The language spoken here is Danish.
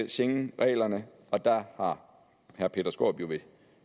schengenreglerne der har herre peter skaarup jo ved